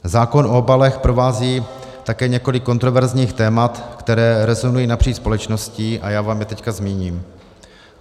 Zákon o obalech provází také několik kontroverzních témat, která rezonují napříč společností, a já vám je teď zmíním.